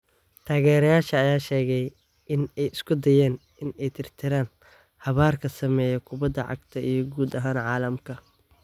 "Taageerayaasha ayaa sheegay in ay isku dayeen in ay tirtiraan habaarka saameeya kubada cagta iyo guud ahaan caalamka""